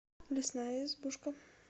лесная избушка